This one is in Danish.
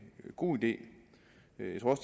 god idé